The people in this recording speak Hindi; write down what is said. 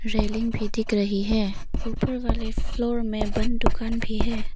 रेलिंग भी दिख रही है ऊपर वाले फ्लोर में बंद दुकान भी है।